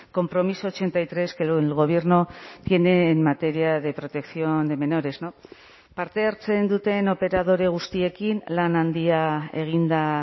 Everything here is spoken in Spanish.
compromiso ochenta y tres que el gobierno tiene en materia de protección de menores parte hartzen duten operadore guztiekin lan handia egin da